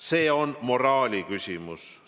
See on moraali küsimus.